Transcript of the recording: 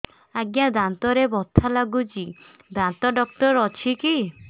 ଆଜ୍ଞା ଦାନ୍ତରେ ବଥା ଲାଗୁଚି ଦାନ୍ତ ଡାକ୍ତର ଅଛି କି